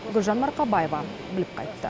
гүлжан марқабаева біліп қайтты